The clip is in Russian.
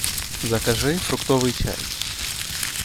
закажи фруктовый чай